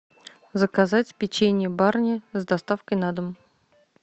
заказать печенье барни с доставкой на дом